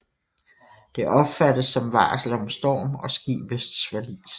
Det opfattes som varsel om storm og skibets forlis